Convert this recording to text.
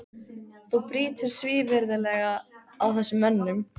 Þú brýtur svívirðilega á þessum mönnum!